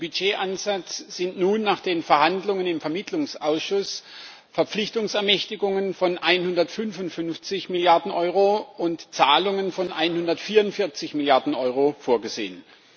Im Budgetansatz sind nun nach den Verhandlungen im Vermittlungsausschuss Verpflichtungsermächtigungen von 155 Milliarden Euro und Zahlungen von 144 Milliarden Euro vorgesehen.